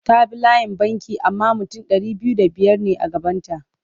Ta bi layin banki amma mutum ɗari biyu da biyar ne a gabanta.